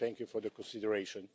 Thank you for the consideration.